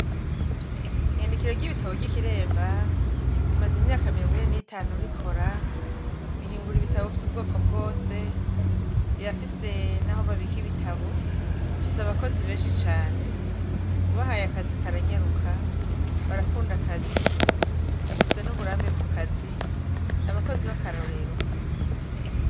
Iyandikiro ry'ikiremba imaze imyaka mirongo ine n'itanu rikora rihingura ibitabo vy'ubwoko bwose rirafise naho babika ibitabo, rifise abakozi benshi cane, ubahaye akazi karanyaruka, barakunda akazi bafise n'uburambe mukazi ,n'abakozi bakarorero.